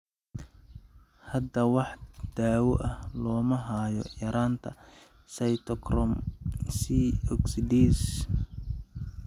Hadda wax daawo ah looma hayo yaraanta cytochrome C oxidase (COX).